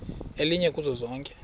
elinye kuzo zonke